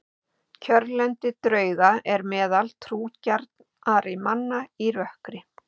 Kjörlendi drauga er meðal trúgjarnra manna í rökkri.